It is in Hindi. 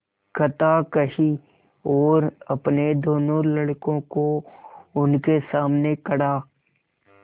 कथा कही और अपने दोनों लड़कों को उनके सामने खड़ा